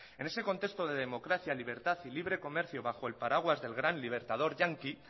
en este contexto de democracia libertad y libre comercio bajo el paraguas del gran libertador yanqui